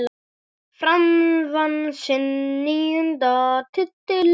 Fram vann sinn níunda titil.